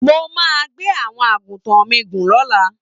Mo máa gbé àwọn àgùntàn mi gùn lọ́la